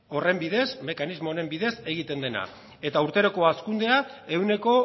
horren bidez mekanismo honen bidez egiten dena eta urteroko hazkundea ehuneko